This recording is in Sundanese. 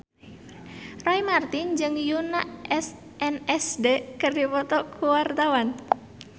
Roy Marten jeung Yoona SNSD keur dipoto ku wartawan